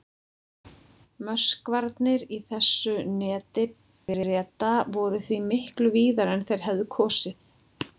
Möskvarnir í þessu neti Breta voru því miklu víðari en þeir hefðu kosið.